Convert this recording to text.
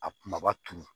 A kumaba turu